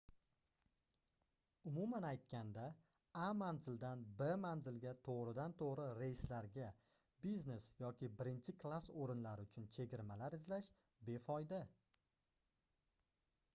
umuman aytganda a manzildan b manzilga togʻridan-toʻgʻri reyslarga biznes yoki birinchi klass oʻrinlari uchun chegirmalar izlash befoyda